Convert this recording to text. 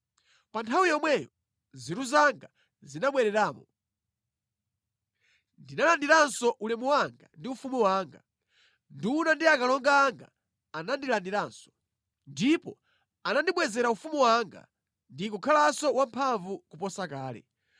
Pa nthawi yomweyo nzeru zanga zinabwereramo. Ndinalandiranso ulemu wanga ndi ufumu wanga. Nduna ndi akalonga anga anandilandiranso. Ndipo anandibwezera ufumu wanga ndi kukhalanso wamphamvu kuposa kale.